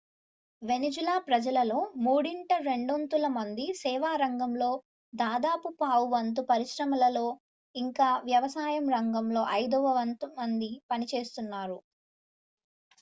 Venezuela ప్రజలలో మూడింట రెండొంతుల మంది సేవా రంగంలో దాదాపు పావువంతు పరిశ్రమలలో ఇంకా వ్యవసాయం రంగంలో ఐదవ వంతు మంది పనిచేస్తారు